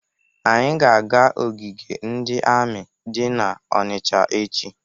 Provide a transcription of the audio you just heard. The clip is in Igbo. Anyị ga-aga ogige ndị amị dị n'Ọnịcha echi.